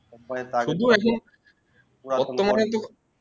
তোমাকে